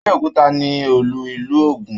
Abéòkúta ni olú ìlú Ògún.